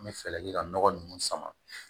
An bɛ fɛɛrɛ kɛ ka nɔgɔ ninnu sama